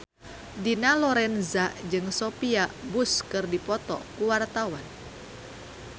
Dina Lorenza jeung Sophia Bush keur dipoto ku wartawan